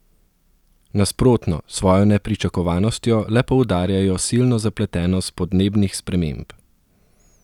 Nasprotno, s svojo nepričakovanostjo le poudarjajo silno zapletenost podnebnih sprememb.